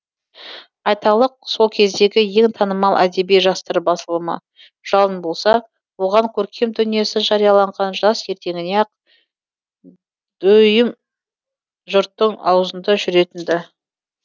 айталық сол кездегі ең танымал әдеби жастар басылымы жалын болса оған көркем дүниесі жарияланған жас ертеңіне ақ дүиім жұрттың аузында жүретін ді